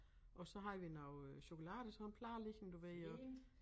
Og så havde vi noget øh chokolade i sådan plade liggende du ved og